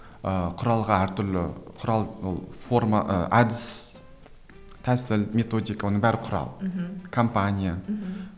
ыыы құралға әр түрлі құрал ол форма ы әдіс тәсіл методика оның бәрі құрал мхм компания мхм